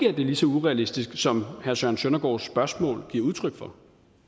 er lige så urealistisk som herre søren søndergaards spørgsmål giver udtryk for